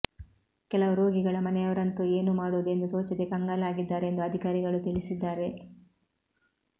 ಕೆಲವು ರೋಗಿಗಳ ಮನೆಯವರಂತೂ ಏನು ಮಾಡುವುದು ಎಂದು ತೋಚದೆ ಕಂಗಾಲಾಗಿದ್ದಾರೆ ಎಂದು ಅಧಿಕಾರಿಗಳು ತಿಳಿಸಿದ್ದಾರೆ